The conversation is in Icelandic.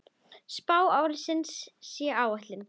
Spá ársins sé á áætlun.